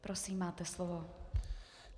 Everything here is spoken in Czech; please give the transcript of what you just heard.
Prosím, máte slovo.